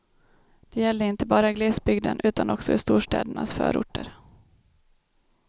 Det gäller inte bara i glesbygden utan också i storstädernas förorter.